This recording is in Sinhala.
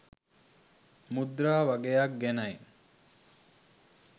මුද්‍රා වගයක් ගැනයි.